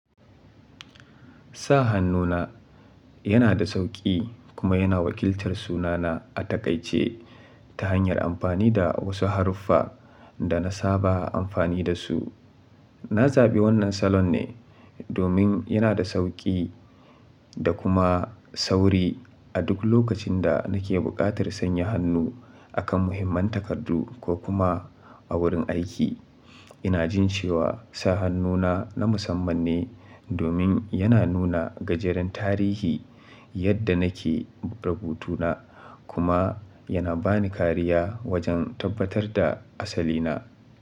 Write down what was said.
Sa hannu na yana da sauƙi kuma yana wakiltar sunana a takaice ta hanyar amfani da wasu haruffa da na saba amfani da su. Na zaɓi wannan salon ne domin yana da sauƙi da kuma sauri a duk lokacin da nake buƙatar sanya hannu akan muhimman takardu ko kuma a wurin aiki. Ina jin cewa sa hannu na na musamman ne domin yana nuna gajeren tarihi yadda nake rubutu na kuma yana bani kariya wajen tabbatar da asali na.